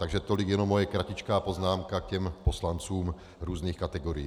Takže tolik jenom moje kratičká poznámka k poslancům různých kategorií.